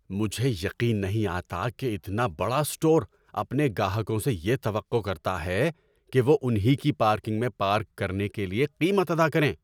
مجھے یقین نہیں آتا کہ اتنا بڑا اسٹور اپنے گاہکوں سے یہ توقع کرتا ہے کہ وہ ان ہی کی پارکنگ میں پارک کرنے کے لیے قیمت ادا کریں!